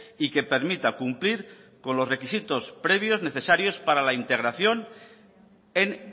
y que permita cumplir con los requisitos previos necesarios para la integración en